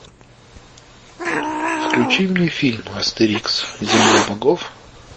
включи мне фильм астерикс земля богов